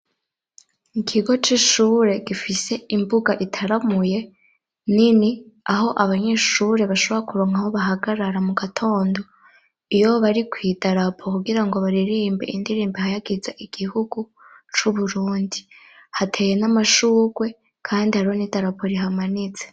ikigo c'ishure gifise imbuga itaramuye nini, aho abanyeshure bashobra kuronka aho bahagarara mu gatondo iyo bari kw'idarapo kugira ngo baririmbe indirimbi ihayagiza igihugu c'uburundi, hateye n'amashugwe kandi hariho n'idarapo rihamanitse.